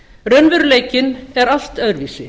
raunveruleikinn er allt öðruvísi